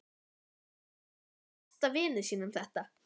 Hvernig gat hann gert besta vini sínum þetta?